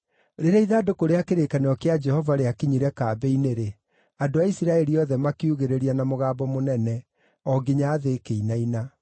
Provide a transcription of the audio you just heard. Rĩrĩa ithandũkũ rĩa kĩrĩkanĩro kĩa Jehova rĩakinyire kambĩ-inĩ-rĩ, andũ a Isiraeli othe makiugĩrĩria na mũgambo mũnene o nginya thĩ ĩkĩinaina.